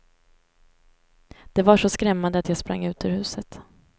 Det var så skrämmande att jag sprang ut ur huset.